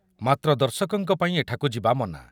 ମାତ୍ର ଦର୍ଶକଙ୍କ ପାଇଁ ଏଠାକୁ ଯିବା ମନା ।